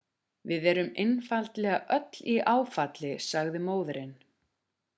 við erum einfaldlega öll í áfalli sagði móðirin